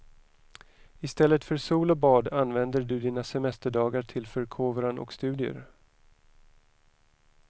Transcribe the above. Istället för sol och bad använder du dina semesterdagar till förkovran och studier.